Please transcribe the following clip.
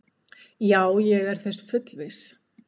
Já, ég er þess fullviss.